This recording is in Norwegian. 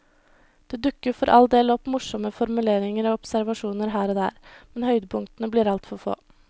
Det dukker for all del opp morsomme formuleringer og observasjoner her og der, men høydepunktene blir altfor få.